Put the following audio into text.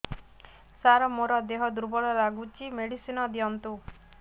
ସାର ମୋର ଦେହ ଦୁର୍ବଳ ଲାଗୁଚି ମେଡିସିନ ଦିଅନ୍ତୁ